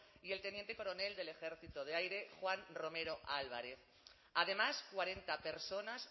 y el teniente coronel del ejército del aire juan romero álvarez además cuarenta personas